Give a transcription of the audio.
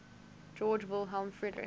georg wilhelm friedrich